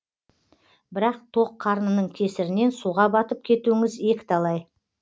бірақ тоқ қарнының кесірінен суға батып кетуіңіз екі талай